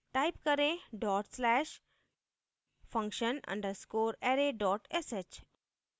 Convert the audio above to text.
type करें dot slash function underscore array dot sh